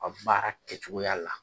A kun b'a kɛcogoya la.